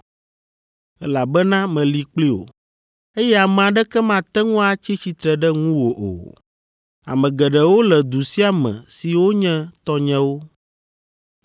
elabena meli kpli wò, eye ame aɖeke mate ŋu atsi tsitre ɖe ŋuwò o, ame geɖewo le du sia me siwo nye tɔnyewo.”